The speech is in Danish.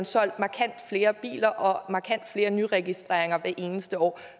solgt markant flere biler og markant flere nyindregistreringer hvert eneste år